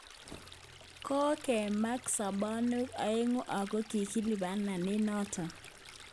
" Kong'emak sabanwek aeng'u ago kigilibana eng' noto